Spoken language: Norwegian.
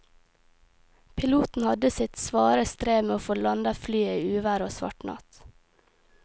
Piloten hadde sitt svare strev med å få landet flyet i uvær og svart natt.